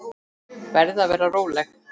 Verð að vera róleg.